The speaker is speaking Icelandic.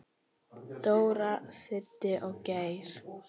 Dóri, Siddi og Geir.